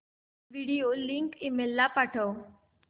video link email ला पाठव